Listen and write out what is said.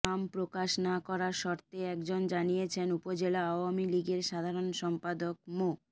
নাম প্রকাশ না করার শর্তে একজন জানিয়েছেন উপজেলা আওয়ামী লীগের সাধারণ সম্পাদক মো